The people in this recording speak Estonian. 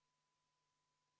V a h e a e g